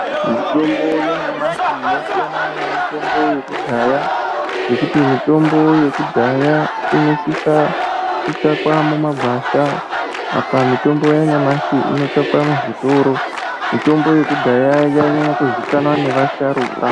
Mitombo yanyamashi yakasiyana nemitombo yekudhaya ngekuti mitombo yekudhaya inosisa kutsvakwa mumgwasha apa mutombo yanyamashi inotsvakwa muzvitoro mitombo yekudhaya yai nyanya kuzivikanwa nevasharukwa.